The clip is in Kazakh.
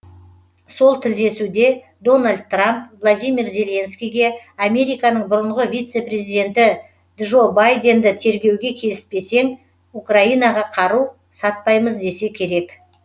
сол тілдесуде дональд трамп владимир зеленскийге американың бұрынғы вице президенті джо байденді тергеуге келіспесең украинаға қару сатпаймыз десе керек